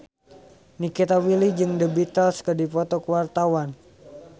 Nikita Willy jeung The Beatles keur dipoto ku wartawan